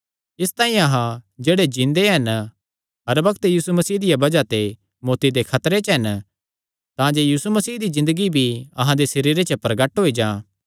इसतांई अहां जेह्ड़े जिन्दे हन हर बग्त यीशु मसीह दिया बज़ाह ते मौत्ती दे खतरे च हन तांजे यीशु मसीह दी ज़िन्दगी भी अहां दे सरीरे च प्रगट होई जां